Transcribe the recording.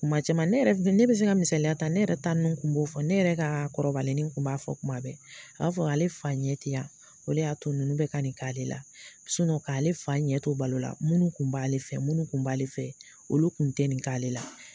Kuma caman ne yɛrɛ ne bi se ka misaya ta, ne yɛrɛ ta nunnu kun b'o fɔ, ne yɛrɛ ka kɔrɔbalenni kun b'a fɔ kuma bɛɛ, a b'a fɔ ale fa ɲɛ ti yan, o le y'a to nunnu bɛ ka nin k'ale la k'ale fa ɲɛ to balo la munnu kun b'ale fɛ, munnu kun b'ale fɛ olu kun tɛ nin k'ale la.